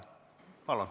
Palun!